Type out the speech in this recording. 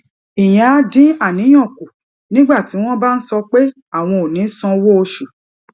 ìyẹn á dín àníyàn kù nígbà tí wón bá ń sọ pé àwọn ò ní sanwó oṣù